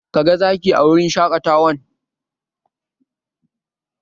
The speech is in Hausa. Ka ga Zaki a wurin shaƙatawan?